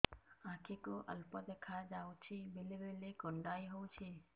ଆଖି କୁ ଅଳ୍ପ ଦେଖା ଯାଉଛି ବେଳେ ବେଳେ କୁଣ୍ଡାଇ ହଉଛି